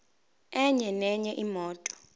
enye nenye imoto